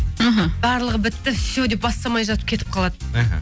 мхм барлығы бітті все деп бастамай жатып кетіп қалады мхм